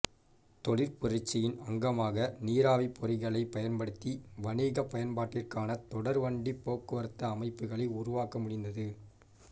தொழிற் புரட்சியின் அங்கமாக நீராவிப் பொறிகளைப் பயன்படுத்தி வணிகப் பயன்பாட்டிற்கான தொடர்வண்டிப் போக்குவரத்து அமைப்புகளை உருவாக்க முடிந்தது